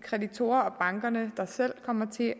kreditorer og banker der selv kommer til at